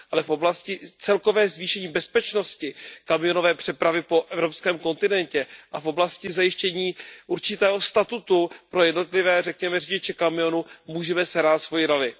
Ale v oblasti celkové zvýšení bezpečnosti kamionové přepravy po evropském kontinentě a v oblasti zajištění určitého statutu pro jednotlivé, řekněme, řidiče kamionů můžeme sehrát svoji roli.